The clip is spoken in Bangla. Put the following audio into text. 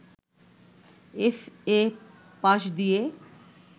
এফ.এ. পাশ দিয়ে